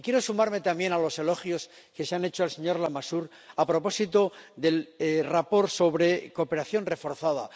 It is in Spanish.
Y quiero sumarme también a los elogios que se han hecho al señor Lamassoure a propósito del informe sobre la cooperación reforzada.